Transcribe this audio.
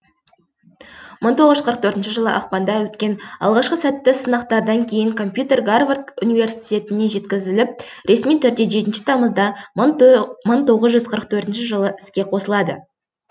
мың тоғыз жүз қырық төртінші жылы ақпанда өткен алғашқы сәтті сынақтардан кейін компьютер гарвард университетіне жеткізіліп ресми түрде жетінші тамызда мың тоғыз жүзқырық төртінші жылы іске қосылады